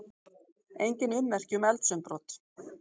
Engin ummerki um eldsumbrot